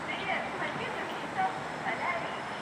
привет помоги мне записаться в солярий